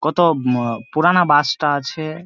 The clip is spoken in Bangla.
কত উম পুরানা বাস -টা আছে ।